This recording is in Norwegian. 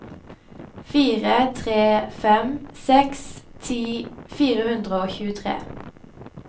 fire tre fem seks ti fire hundre og tjuetre